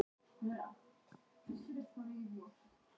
Í fyrra var það heimavöllur liðsins sem gerði útslagið.